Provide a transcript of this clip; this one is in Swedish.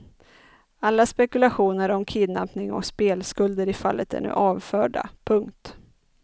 Alla spekulationer om kidnappning och spelskulder i fallet är nu avförda. punkt